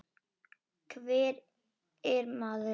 Og hver er maður?